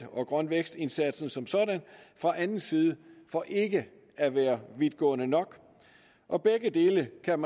og grøn vækst indsatsen som sådan fra anden side for ikke at være vidtgående nok og begge dele kan